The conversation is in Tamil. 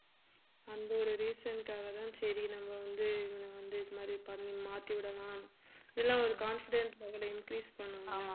அந்த ஒரு reason னுக்காகதான் சரி நம்ம வந்து இவன வந்து இது மாதிரி பண்ணி மாத்தி விடலாம் இதெல்லாம் ஒரு confidence level அ increase பண்ணும்